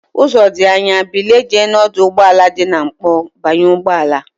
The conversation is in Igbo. Uzo di Anya, bilie jee na oduugboala di na nkpo banye ugboala!